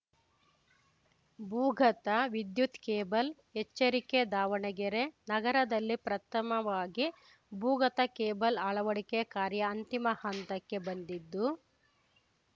ಭೂಗತ ವಿದ್ಯುತ್‌ ಕೇಬಲ್‌ ಎಚ್ಚರಿಕೆ ದಾವಣಗೆರೆ ನಗರದಲ್ಲಿ ಪ್ರಥಮವಾಗಿ ಭೂಗತ ಕೇಬಲ್‌ ಅಳವಡಿಕೆ ಕಾರ್ಯ ಅಂತಿಮ ಹಂತಕ್ಕೆ ಬಂದಿದ್ದು